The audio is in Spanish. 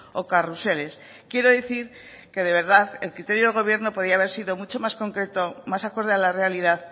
o carruseles quiero decir que de verdad el criterio del gobierno podría haber sido mucho más concreto más acorde a la realidad